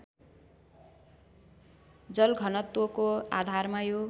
जलघनत्वको आधारमा यो